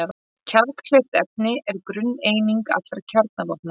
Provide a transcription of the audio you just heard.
Kjarnkleyft efni er grunneining allra kjarnavopna.